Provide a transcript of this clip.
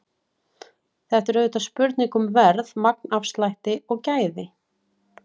Þetta er auðvitað spurning um verð, magnafslætti og gæði.